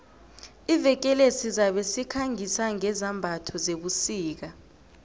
iveke le sizabe sikhangisa ngezambatho zebusika